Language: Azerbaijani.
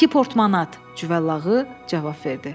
İki portmanat, Cüvəllağı cavab verdi.